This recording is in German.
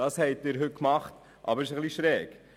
Das haben Sie heute getan, aber es ist ein bisschen schräg.